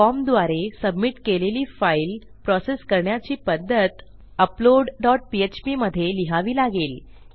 फॉर्मद्वारे submit केलेली file process करण्याची पध्दत अपलोड डॉट पीएचपी मधे लिहावी लागेल